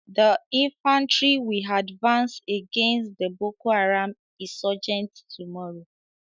The infantry will advance against the Boko Haram insurgents tomorrow